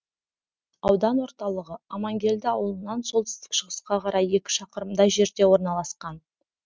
аудан ортылығы амангелді ауылынан солтүстік шығысқа қарай екі шақырымдай жерде орналасқан